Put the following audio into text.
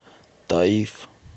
таиф